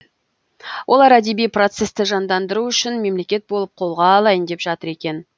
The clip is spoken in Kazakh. олар әдеби процесті жандандыру үшін мемлекет болып қолға алайын деп жатыр екен